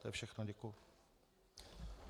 To je všechno, děkuji.